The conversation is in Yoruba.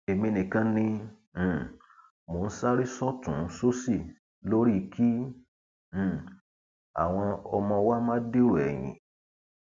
èmi nìkan ni um mò ń sáré sọtùnúnsòsì lórí kí um àwọn ọmọ wa má dèrò ẹyìn